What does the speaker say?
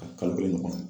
A kalo kelen ɲɔgɔn